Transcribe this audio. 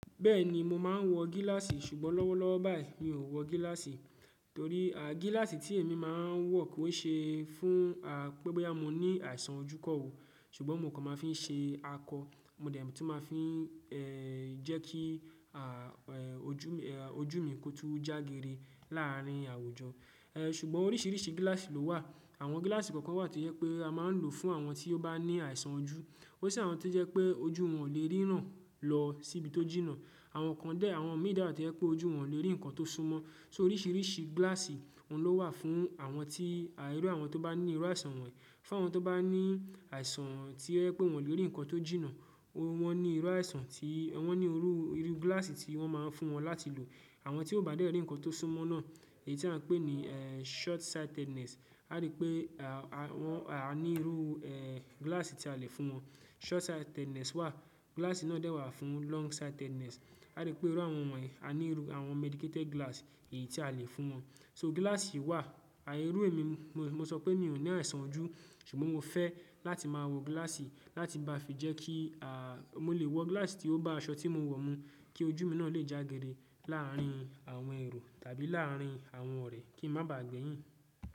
Bẹ́ẹ̀ni mo máa ń wọ gíláàsì ṣùgbọ́n lọ́wọ́lọ́wọ́ báyìí mi ò wọ gíláàsì torí gíláàsì tí èmi máa ń wọ kò ṣe é fún pébá mo ní àìsàn ojú kan wò, ṣùgbọ́n mo kàn máa ń fi ṣe akọ, mo dẹ̀ tún máa ń fi jẹ́ kí ojú mi kò tun jágere láàárín àwujọ. Ṣùgbọ́n oríṣìíríṣìí gíláàsì ló wà. Àwọn gíláàsì kọ̀ọ̀kan wà to jẹ pé a máa ń lò fún àwọn tí ó bá ní àìsàn ojú. Ó si àwọn tio jẹ pé ojú wọn ò lè ríran lọ síbi tó jìnnà. Àwọn kan dẹ̀, àwọn mì de wa tio jẹ pé ojú wọn ò lè rí nǹkan tó súnmọ́. So oríṣìíríṣìí gíláàsì oun ló wà fún àwọn tí, iru àwọn tó bá ní irú àìsàn wọ̀nyí. Fun àwọn tó bá ní àìsàn tío je pé wọn lè rí ǹkan tó jìnnà wọ́n ní irú àìsàn tí wọ́n ní irú gíláàsì tí wọ́n máa ń fún wọn láti lò. Àwọn tí ó bá de rí ǹkan tó súnmọ́ náà èyí tí à ń pè ní short sightedness, a rí pé à ní irú gíláàsì tí a lè fún wọn. Short sightedness wà, gíláàsì náà dẹ̀ wà fún long sightedness. A rí pé irú àwọn wọ̀nyí a ní irú àwọn medicated glass èyí tí a lè fún wọn. So gíláàsì wà, àìérú èmi, mo sọ pé mi ò ní àìsàn ojú ṣùgbọ́n mo fẹ́ láti máa wọ gíláàsì láti bá fi jẹ́ kí mo lè wọ gíláàsì tí ó bá aṣọ tí mo wọ̀ mú kí ojú mi náà lè jágere láàárín àwọn èrò tàbí láàárín àwọn ọ̀rẹ́ kí n má bà á gbẹ̀yìn.